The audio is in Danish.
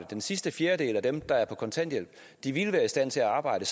den sidste fjerdedel af dem der er på kontanthjælp ville være i stand til at arbejde